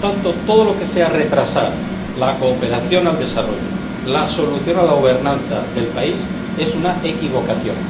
Por lo tanto, todo lo que sea retrasar la cooperación al desarrollo y la solución a la gobernanza del país es una equivocación.